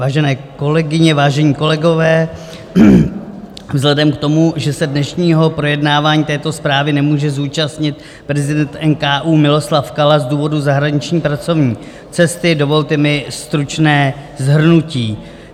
Vážené kolegyně, vážení kolegové, vzhledem k tomu, že se dnešního projednávání této zprávy nemůže zúčastnit prezident NKÚ Miloslav Kala z důvodu zahraniční pracovní cesty, dovolte mi stručné shrnutí.